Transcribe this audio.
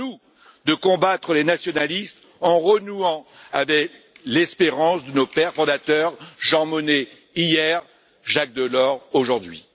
À nous de combattre les nationalistes en renouant avec l'espérance de nos pères fondateurs, Jean Monnet hier, Jacques Delors aujourd'hui.